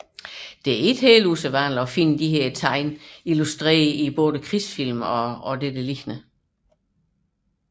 Det er ikke ualmindeligt at finde disse tegn illustreret i krigsfilm og lignende